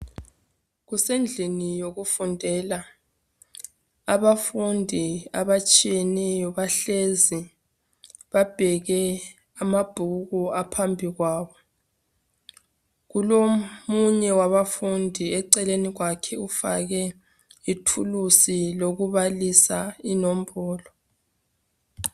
Kusendlini yokufundela abafundi abatshiyeneyo bahlezi babheke amabhuku aphambi kwabo. Kulomunye wabafundi eceleni kwakhe ufake ithulusi lokubalisa inombolo.